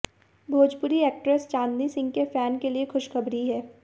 Bhojpuri actress Chandni Singh के fan के लिए खुशखबरी है